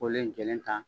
Kolen in jɛlen ta